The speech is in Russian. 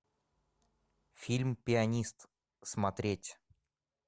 фильм пианист смотреть